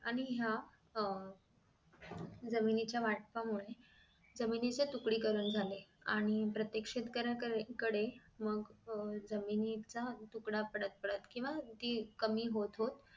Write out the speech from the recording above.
आणि ह्या जमिनीच्या वाटपामुळे जमिनीचे तुकडी करण झाले आणि प्रत्येक शेतकऱ्या कडे मग अह जमिनीचा तुकडा पडत पडत केंव्हा ती कमी होत होत